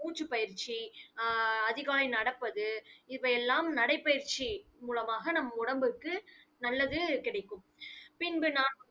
மூச்சுப் பயிற்சி ஆஹ் அதிகாலை நடப்பது, இவையெல்லாம் நடைப்பயிற்சி மூலமாக நம் உடம்புக்கு நல்லது கிடைக்கும். பின்பு நான்